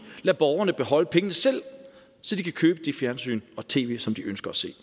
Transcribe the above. lade borgerne beholde pengene selv så de kan købe det fjernsyn og tv som de ønsker at se